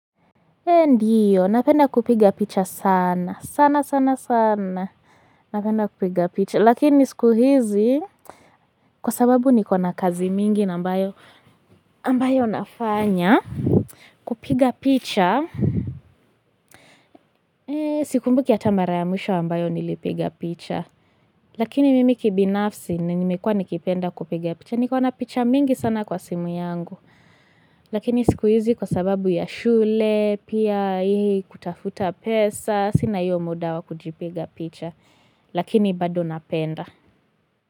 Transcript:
Ndiyo napenda kupiga picha sana sana sana sana napenda kupiga picha lakini siku hizi kwa sababu nikona kazi mingi ambayo ambayo nafanya kupiga picha sikumbuki hata mara ya mwisho ambayo nilipiga picha lakini mimi kibinafsi ninimekua nikipenda kupiga picha nikona picha mingi sana kwa simu yangu lakini siku hizi kwa sababu ya shule pia kutafuta pesa sina hiyo muda wa kujipa picha lakini bado napenda.